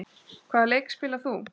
Hvaða leik spilar þú?